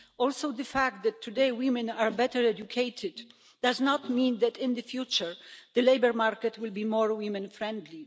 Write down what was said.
Also, the fact that today women are better educated does not mean that in the future the labour market will be more woman friendly.